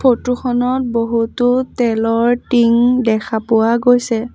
Photo খনত বহুতো তেলৰ টিং দেখা পোৱা গৈছে।